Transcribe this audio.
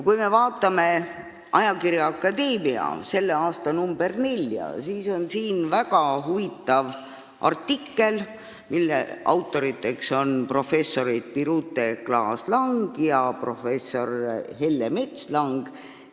Kui me vaatame ajakirja Akadeemia selle aasta neljandat numbrit, siis on siin väga huvitav artikkel, mille autorid on professor Birute Klaas-Lang ja professor Helle Metslang.